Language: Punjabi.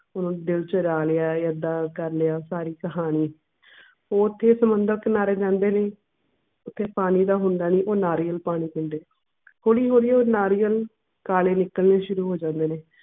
ਉਹ ਦਿਲ ਚੁਰਾ ਲਿਆ ਹੈ ਏਦਾਂ ਉਦਾਂ ਕਰ ਲਿਆ ਸਾਰੀ ਕਹਾਣੀ ਉਥੇ ਸਮੁੰਦਰ ਕਿਨਾਰੇ ਜਾਂਦੇ ਨੀ ਓਥੇ ਪਾਣੀ ਤਾਂ ਹੁੰਦਾ ਨੀ ਉਹ ਨਾਰੀਅਲ ਪਾਣੀ ਪੀਂਦੇ ਹੌਲੀ ਹੌਲੀ ਉਹ ਨਾਰੀਅਲ ਕਾਲੇ ਨਿਕਲਣੇ ਸ਼ੁਰੂ ਹੋ ਜਾਂਦੇ ਨੇ